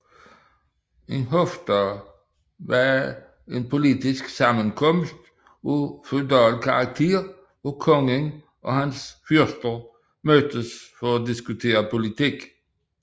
En hofdag var en politisk sammenkomst af feudal karakter hvor kongen og hans fyrster mødtes for at diskutere politik